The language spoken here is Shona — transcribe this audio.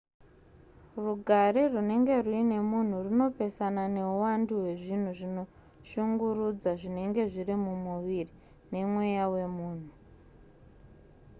rugare runenge ruine munhu runopesana neuwandu hwezvinhu zvinoshungurudza zvinenge zviri mumuviri nemweya wemunhu